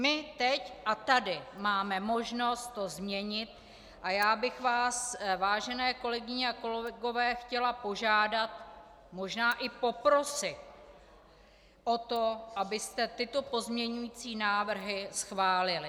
My teď a tady máme možnost to změnit a já bych vás, vážené kolegyně a kolegové chtěla požádat, možná i poprosit o to, abyste tyto pozměňující návrhy schválili.